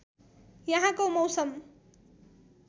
यहाँको मौसम